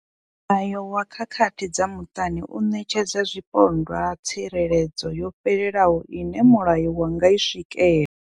Mulayo wa khakhathi dza muṱani u ṋetshedza zwipondwa tsireledzo yo fhelelaho ine mulayo wa nga i swikela.